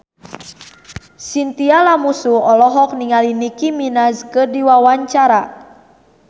Chintya Lamusu olohok ningali Nicky Minaj keur diwawancara